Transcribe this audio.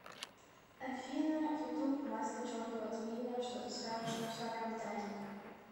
афина ютуб масло черного тмина что ты скажешь мусорам даник